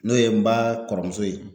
N'o ye n ba kɔrɔmuso ye